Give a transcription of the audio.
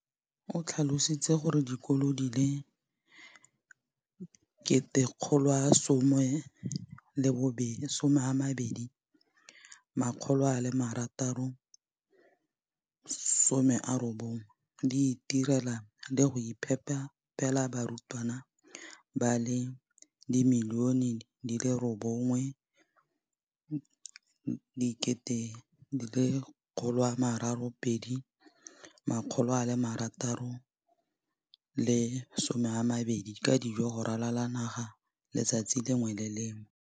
O tlhalositse gore dikolo di le 20 619 di itirela le go iphepela barutwana ba le 9 032 622 ka dijo go ralala naga letsatsi le lengwe le le lengwe.